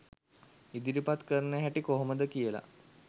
ඉදිරිපත් කරන හැටි කොහොමද කියලා